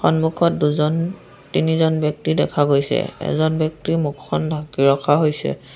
সন্মুখত দুজন তিনিজন ব্যক্তি দেখা গৈছে এজন ব্যক্তিৰ মুখখন ঢাকি ৰখা হৈছে।